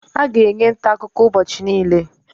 A ga-enwe ntaakụkọ ụbọchị niile